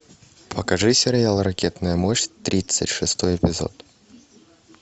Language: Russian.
покажи сериал ракетная мощь тридцать шестой эпизод